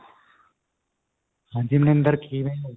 ਹਾਂਜੀ ਮਨਿੰਦਰ ਕਿਵੇਂ ਓ